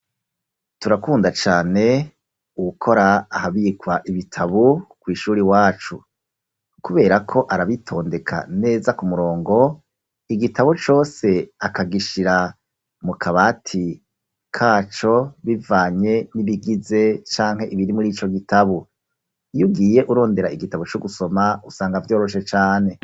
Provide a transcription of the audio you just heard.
Turakunda cane uwukora ahabikwa ibitabo kw’ishure iwacu; kubera ko arabitondeka neza ku murongo, igitabo cose akagishira mu kabati kaco, bivanye n'ibigize canke ibiri muri ico gitabo; iyo ugiye urondera igitabo co gusoma usanga vyoroshe cane.